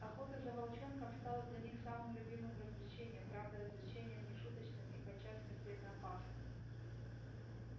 охота за волчонком стала для них самым любимым развлечением правда развлечением не шуточным и подчас смертельно опасным